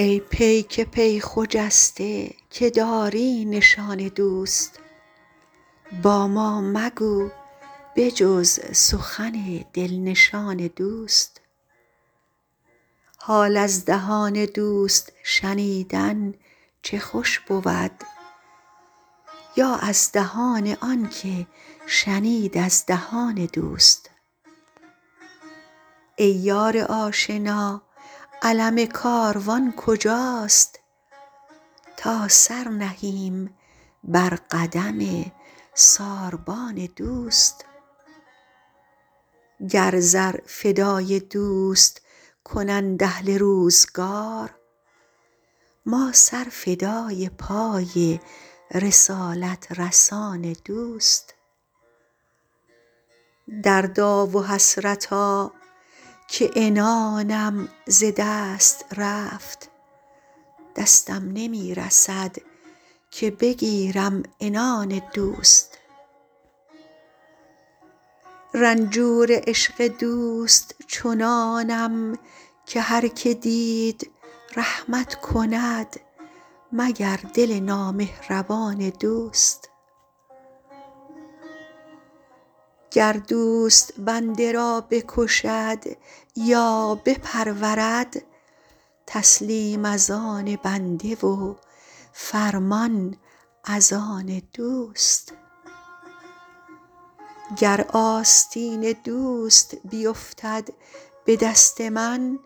ای پیک پی خجسته که داری نشان دوست با ما مگو به جز سخن دل نشان دوست حال از دهان دوست شنیدن چه خوش بود یا از دهان آن که شنید از دهان دوست ای یار آشنا علم کاروان کجاست تا سر نهیم بر قدم ساربان دوست گر زر فدای دوست کنند اهل روزگار ما سر فدای پای رسالت رسان دوست دردا و حسرتا که عنانم ز دست رفت دستم نمی رسد که بگیرم عنان دوست رنجور عشق دوست چنانم که هر که دید رحمت کند مگر دل نامهربان دوست گر دوست بنده را بکشد یا بپرورد تسلیم از آن بنده و فرمان از آن دوست گر آستین دوست بیفتد به دست من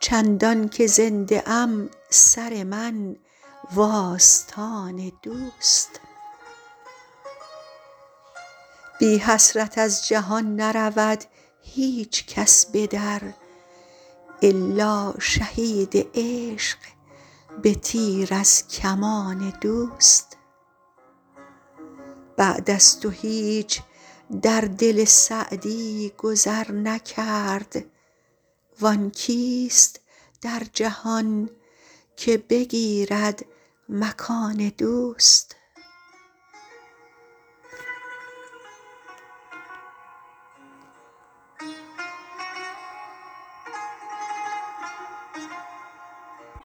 چندان که زنده ام سر من و آستان دوست بی حسرت از جهان نرود هیچ کس به در الا شهید عشق به تیر از کمان دوست بعد از تو هیچ در دل سعدی گذر نکرد وآن کیست در جهان که بگیرد مکان دوست